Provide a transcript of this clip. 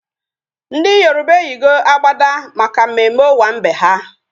Ndị Yoroba eyigo agbada maka mmemme owambe ha